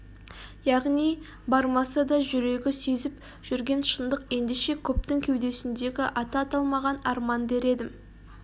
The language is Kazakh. яғни бармаса да жүрегі сезіп жүрген шындық ендеше көптің кеудесіндегі аты аталмаған арман дер едім